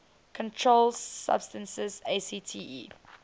controlled substances acte